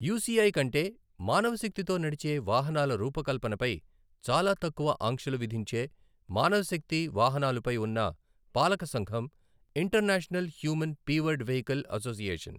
UCI కంటే మానవ శక్తితో నడిచే వాహనాల రూపకల్పనపై చాలా తక్కువ ఆంక్షలు విధించే మానవ శక్తి వాహనాలుపై ఉన్న పాలక సంఘం International Human Powered Vehicle association.